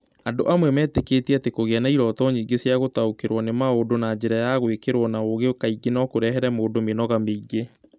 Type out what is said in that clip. Andũ amwe metĩkĩtie atĩ kũgĩa na iroto nyingĩ cia gũtaũkĩrũo nĩ maũndũ na njĩra ya gwĩkĩrwo na ũũgĩ kaingĩ no kũrehere mũndũ mĩnoga mĩingĩ.